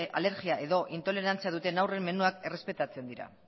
alergia edo intolerantzia duten aurren menuak errespetatzen dira